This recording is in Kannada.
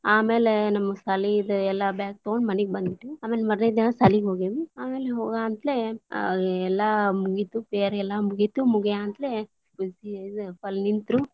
ಆಮೇಲೆ ನಮ್ ಸಾಲಿದ್ ಎಲ್ಲಾ bag ತಗೊಂಡ ಮನಿಗ ಬಂದ್ಬಿಟ್ವಿ, ಆಮ್ಯಾಗ ಮಾರನೆ ದಿನಾ ಸಾಲಿಗ ಹೊಗೆವಿ ಆಮೇಲೆ ಹಾಗಂತಲೇ ಎಲ್ಲಾ ಮುಗಿತು prayer ಎಲ್ಲಾ ಮುಗಿತ್ ಮುಗ್ಯಾಂತಲೇ ನಿಂತ್ರು.